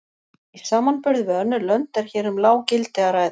Í samanburði við önnur lönd er hér um lág gildi að ræða.